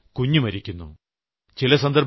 മറ്റു ചിലപ്പോൾ കുഞ്ഞു മരിക്കുന്നു